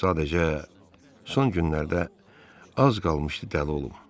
Sadəcə, son günlərdə az qalmışdı dəli olum.